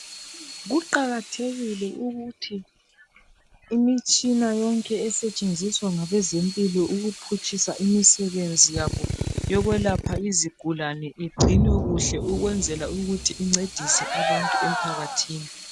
kuqakathekile ukuthi imitshina yonke esetsheziswa ngabezempilo ukuphutshisa imisebenzi yokwelapha izigulane igcinwe kuhle ukwenzela ukuthi incedise abantu emphakathini